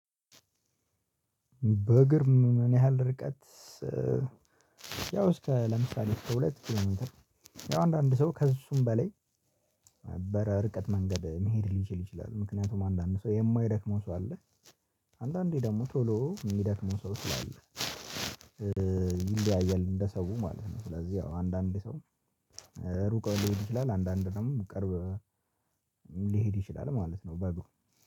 በእግር ምን ያህል ርቀት ያው እስከ ለምሳሌ እስከ ሁለት ኪሎ ሜንተር አንዳንድ ሰው ከእሱም በላይ ነበረ ርቀት መንገድ መሄድ ሊችል ይችላል፤ ምክንያቱም አንዳንድ ሰው የማይደክመው ሰው አለ፤ አንዳንዴ ደግሞ ቶሎ የሚደክመው ሰው ስላለ፤ ይለያያል እንደሰው ማለት ነው ስለዚህ ያው አንዳንዴ ሰው ሩቅ እንዲሆን ይችላል አንዳንዴ ደግሞ ቅርብ ሊሄድ ይችላል ማለት ነው በግሩ።